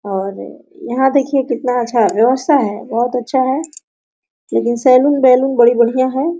और यहाँ देखिए कितना अच्छा व्यवस्था है बहुत अच्छा है लेकिन सैलून बैलून बड़ी बढ़िया है।